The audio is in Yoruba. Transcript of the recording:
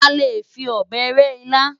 A lè fi ọ̀bẹ rẹ́ ilá.